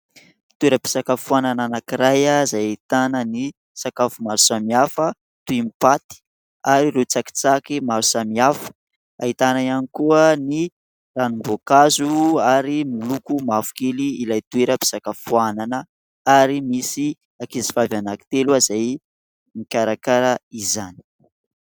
Toeram-pisakafoanana anankiray ah izay ahitana ny sakafo maro samihafa toy ny paty ary ireo tsakitsaky maro samihafa, ahitana ihany koa ny ranom-boankazo ary miloko mavokely ilay toeram-pisakafoanana ary misy ankizivavy anankitelo izay mikarakara izany.